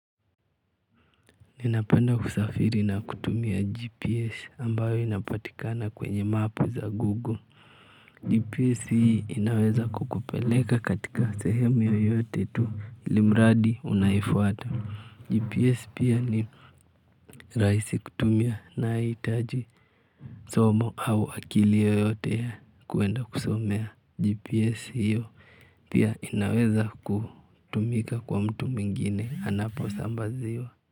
Ninapenda kusafiri na kutumia GPS ambayo inapatikana kwenye map za Google. GPS hii inaweza kukupeleka katika sehemu yoyote tu ilimradi unaifuata. GPS pia ni rahisi kutumia nahitaji somo au akili yoyote ya kuenda kusomea GPS hiyo pia inaweza kutumika kwa mtu mwingine anaposambaziwa.